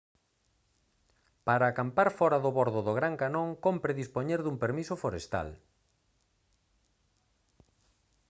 para acampar fóra do bordo do gran canón cómpre dispoñer dun permiso forestal